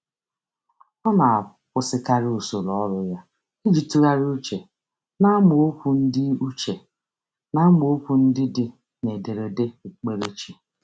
Ọ na-akwụsịkarị usoro ọrụ ya iji tụgharị uche n’amaokwu ndị uche n’amaokwu ndị dị n’ederede okpukperechi.